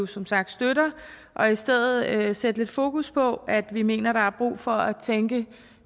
som sagt støtter og i stedet sætte lidt fokus på at vi mener der er brug for at tænke